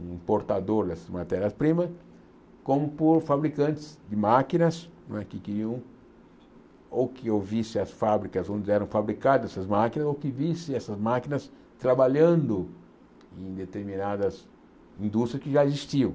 um importador dessas matérias-primas, como por fabricantes de máquinas né que queriam ou que ouvissem as fábricas onde eram fabricadas essas máquinas ou que vissem essas máquinas trabalhando em determinadas indústrias que já existiam.